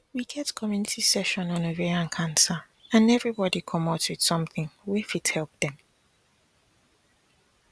we get community session on ovarian cancer and everybody commot with something wey fit help dem